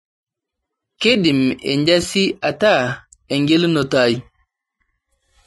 keidim enjazi ataa engelunoto ai